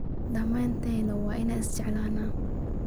Dhammaanteen waa inaan isjeclaannaa.